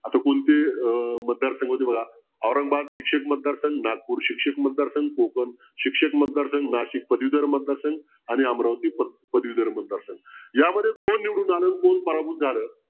आता कोणते अं मतदार संघ होते बघा औरंगाबाद शिक्षक मतदारसंघ नागपूर शिक्षक मतदारसंघ कोकण शिक्षक मतदारसंघ नाशिक पदवीधर मतदारसंघ आणि अमरावती पदवीधर मतदारसंघ यामध्ये कोण निवडून आलं कोण पराभूत झालं